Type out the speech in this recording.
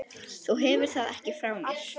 Þú hefur það ekki frá mér.